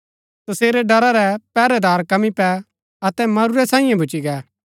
तसेरै ड़रा रै पैहरैदार कंमी पै अतै मरूरै सांईये भूच्ची गै